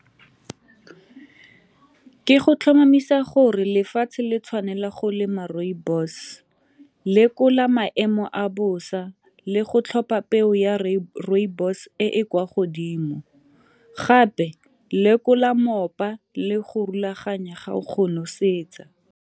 Ke go tlhomamisa gore lefatshe le tshwanela go lema rooibos, lekola maemo a bosa le go tlhopa peo ya rooibos e e kwa godimo, gape lekola moopa le go rulaganya ga o go nosetsa.